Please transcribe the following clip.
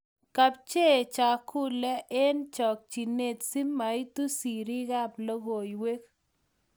Kepchei chakulee heng chokchinee si maitu serii ab lokoiwek ku